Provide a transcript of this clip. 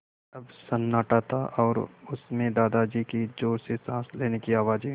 अब सन्नाटा था और उस में दादाजी की ज़ोर से साँस लेने की आवाज़ें